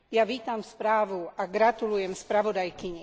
Vítam správu a gratulujem spravodajkyni.